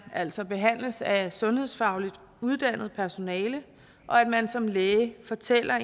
altså behandles af sundhedsfagligt uddannet personale og at man som læge fortæller